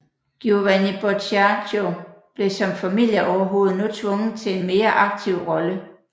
Giovanni Boccaccio blev som familieoverhovede nu tvunget til en mere aktiv rolle